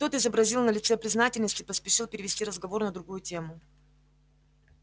тот изобразил на лице признательность и поспешил перевести разговор на другую тему